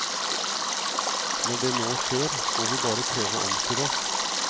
Når det nå skjer, må vi bare prøve å omstille oss.